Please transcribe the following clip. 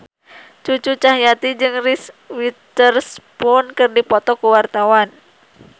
Cucu Cahyati jeung Reese Witherspoon keur dipoto ku wartawan